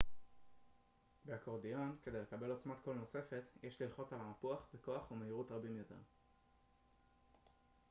באקורדיון כדי לקבל עוצמת קול נוספת יש ללחוץ על המפוח בכוח או מהירות רבים יותר